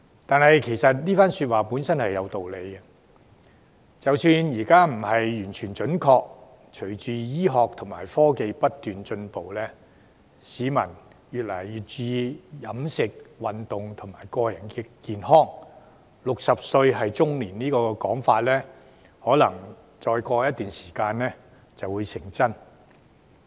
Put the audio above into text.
但是，這番說話本身是有道理的，即使現在不完全準確，隨着醫學和科技不斷進步，市民越來越注重飲食、運動和個人健康 ，"60 歲是中年"這個說法，可能再過一段時間就會成真。